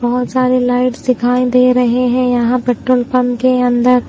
बहोत सारे लाइट्स दिखाई दे रहे है यहां पेट्रोल पंप के अंदर--